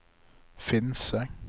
Finse